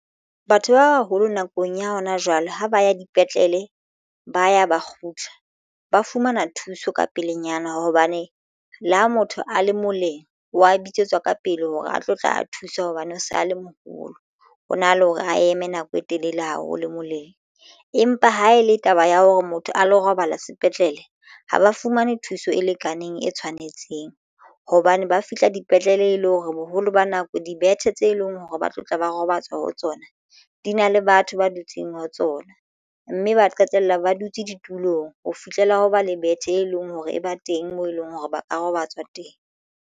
Batho ba baholo nakong ya hona jwale ha ba ya dipetlele ba ya ba kgutla ba fumana thuso ka pelenyana hobane le ha motho a le moleng wa bitsetswa ka pele hore a tlo tla a thusa hobane o sa le moholo ho na le hore a eme nako e telele haholo moleng. Empa ha e le taba ya hore motho a lo robala sepetlele ha ba fumane thuso e lekaneng e tshwanetseng hobane ba fihla dipetlele le hore boholo ba nako dibethe tse leng hore ba tlo tla ba robatswa ho tsona di na le batho ba dutseng ho tsona mme ba qetella ba dutse ditulong ho fihlela ho ba le bethe e leng hore e ba teng moo eleng hore ba ka robatswa teng.